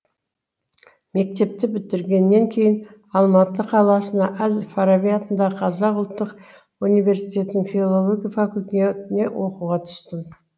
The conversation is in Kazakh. мектепті бітіргеннен кейін алматы қаласына әл фараби атындағы қазақ ұлттық университетінің филология факультетіне оқуға түстім